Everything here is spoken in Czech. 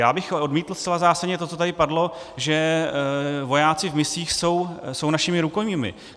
Já bych odmítl zcela zásadně to, co tady padlo, že vojáci v misích jsou našimi rukojmími.